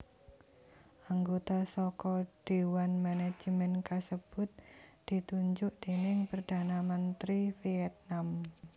Anggota saka déwan manajemen kasebut ditunjuk déning Perdana Menteri Vietnam